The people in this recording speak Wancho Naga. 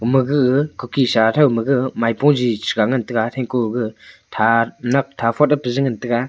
ama ga kuki sa thow maga maipo jijiga ngan taiga thaikoga thanak thaphot peje ngan taiga.